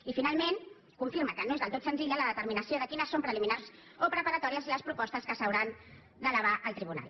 i finalment confirma que no és del tot senzilla la determinació de quines són preliminars o preparatòries les propostes que s’hauran d’elevar al tribunal